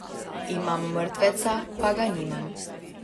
Imam mrtveca pa ga nimam.